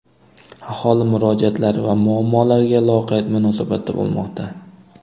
Aholi murojaatlari va muammolariga loqayd munosabatda bo‘lmoqda.